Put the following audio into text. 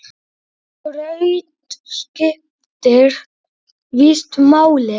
Skraut skiptir víst máli!